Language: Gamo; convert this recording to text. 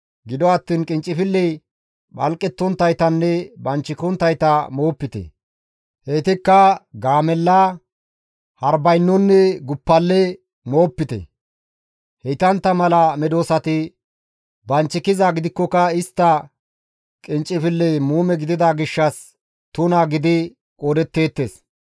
Gido attiin qinccafilley phalqettonttaytanne banchikonttayta moopite; heytikka gaamella, harbaynonne guppale moopite; heytantta mala medosati banchikizaa gidikkoka istta qinccifilley muume gidida gishshas tuna gidi qoodetteettes.